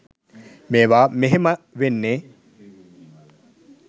මේවා මෙහෙම වෙන්නේ.